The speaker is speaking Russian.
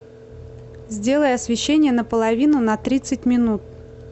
сделай освещение на половину на тридцать минут